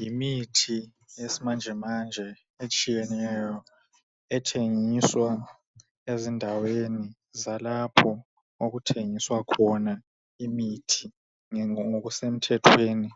Yimithi eyesimanjemanje etshiyeneyo ethengiswa ezindaweni zalapho okuthengiswa khona imithi ngokusemthethweni,